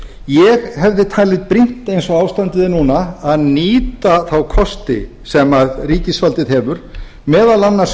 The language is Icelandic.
ég hefði talið brýnt eins og ástandið er núna að nýta þá kosti sem ríkisvaldið hefur meðal annars